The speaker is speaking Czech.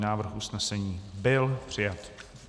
Návrh usnesení byl přijat.